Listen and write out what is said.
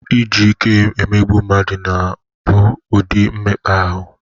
Iji ike emegbu mmadụ bụ ụdị mmekpa ahụ.